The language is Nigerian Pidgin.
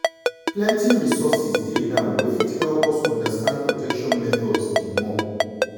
plenty resources dey now wey fit help us understand protection methods the more.